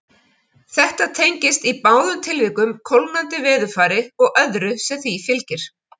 Þetta tengist í báðum tilvikum kólnandi veðurfari og öðru sem því fylgir.